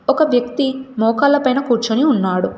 ఒక వ్యక్తి మోకాళ్ళ పైన కూర్చొని ఉన్నాడు.